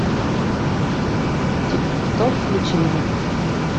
тип топ включи мне